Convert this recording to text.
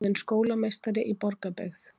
Ráðin skólameistari í Borgarbyggð